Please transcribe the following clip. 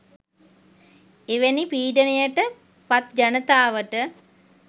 එවැනි පීඩනයට පත් ජනතාවට